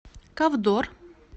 ковдор